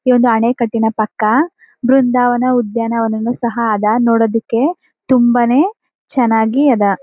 ಈ ಒಂದು ಅಣೆಕಟ್ಟಿನ ಪಕ್ಕ ಬೃಂದಾವನ ಉದ್ಯಾನವನನು ಸಹ ಅದ ನೋಡೋದಕ್ಕೆ ತುಂಬಾನೇ ಚೆನ್ನಾಗಿ ಅದ.